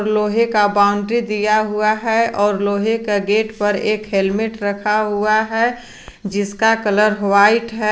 लोहे का बाउंड्री दिया हुआ है और लोहे का गेट पर एक हेल्मेट रखा हुआ है जिसका कलर व्हाइट है।